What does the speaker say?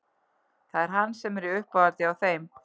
Það er hann sem er í uppáhaldi hjá þeim